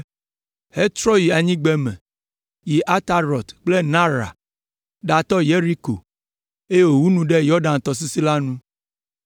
hetrɔ yi anyigbeme, yi Atarɔt kple Naara, ɖatɔ Yeriko, eye wòwu nu ɖe Yɔdan tɔsisi la nu.